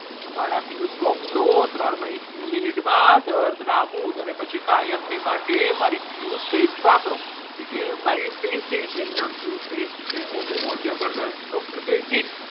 મારા પિયુષ drops લો ત્રણ મિનિટમાં દર્દ નાબૂદ અને પછી કાયમ માટે મારી પિયુષ paste વાપરો એ કે મારી paste કઈ છે એ કહે paste છે ઓ હો હો જબરજસ્ત doctor કહે ઠીક.